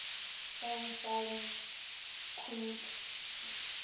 fyn fine kweek